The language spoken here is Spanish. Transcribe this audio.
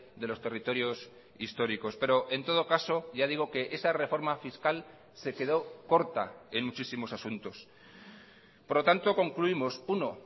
de los territorios históricos pero en todo caso ya digo que esa reforma fiscal se quedó corta en muchísimos asuntos por lo tanto concluimos uno